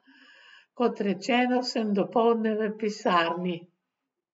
Kot rečeno, sem dopoldne v pisarni.